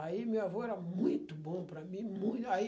Aí meu avô era muito bom para mim. Mui, aí